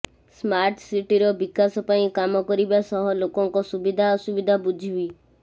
smart ସିଟିର ବିକାଶ ପାଇଁ କାମ କରିବା ସହ ଲୋକଙ୍କ ସୁବିଧା ଅସୁବିଧା ବୁଝିବି